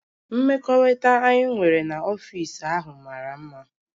Mmekọrịta anyị nwere n'ọfịs ahụ mara mma